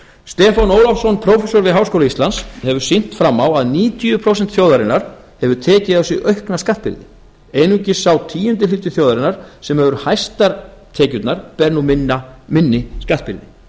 stefán ólafsson þetta er athyglisvert í ljósi þess hvernig skattbyrði mismunandi hópa hefur þróast stefán ólafsson prófessor við háskóla íslands hefur sýnt fram á að níutíu prósent þjóðarinnar hafa tekið á sig aukna skattbyrði einungis sá tíundi hluti þjóðarinnar sem hefur hæstar tekjurnar ber nú minni skattbyrði